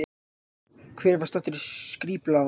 Hver var staddur í Skrýpla-landi?